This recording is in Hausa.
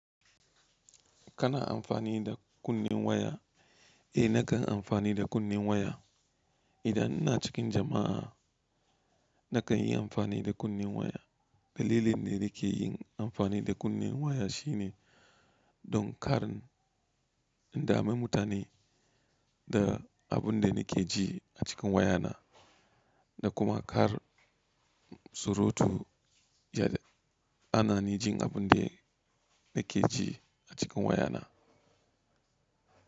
Kana amfani da kunnen waya? Eh nakan amfani da kunnen waya. Idan ina cikin jama'a nakan yi amfani da kunnen waya. Dalilin da nake yin amfani da kunnen waya shine don kare indami mutane da abin da nake ji a cikin wayana da kuma kar surutu ya ji. Anani jin abun da nake ji a cikin wayana.